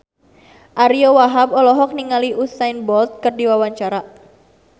Ariyo Wahab olohok ningali Usain Bolt keur diwawancara